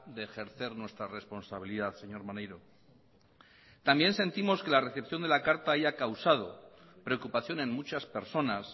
de ejercer nuestra responsabilidad señor maneiro también sentimos que la recepción de la carta haya causado preocupación en muchas personas